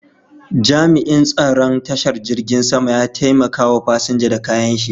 Jami'in tsaron tashar jirgin sama ya taimaka wa fasinja da kayan shi.